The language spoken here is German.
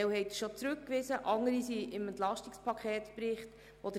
Einige haben Sie bereits zurückgewiesen, andere befinden sich im Bericht zum EP.